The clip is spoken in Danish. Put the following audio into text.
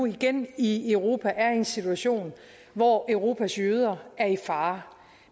igen i europa er en situation hvor europas jøder er i fare